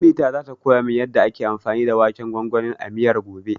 Ummita zata koya min yanda ake anfani da waken gwangwanin a miyar, gobe.